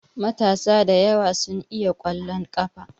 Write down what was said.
Matasa da yawa su iya ƙwallon ƙafa.